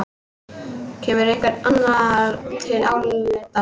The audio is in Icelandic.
Kemur einhver annar til álita?